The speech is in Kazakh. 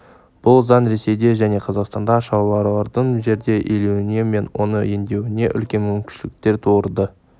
бұл заң ресейде және қазақстанда шаруалардың жерді иеленуі мен оны өңдеуіне үлкен мүмкіншіліктер тудырды